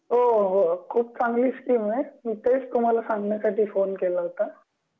हो हो हो खूप चांगली स्कीम आहे मी तेच तुम्हाला सांगण्यासाठी फोन केला होता